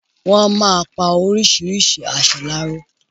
Wọ́n á máa pa orisirisi aṣọ láró.